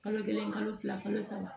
Kalo kelen kalo fila kalo saba